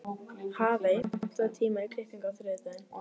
Hafey, pantaðu tíma í klippingu á þriðjudaginn.